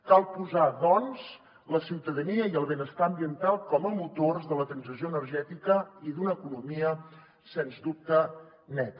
cal posar doncs la ciutadania i el benestar ambiental com a motors de la transició energètica i d’una economia sens dubte neta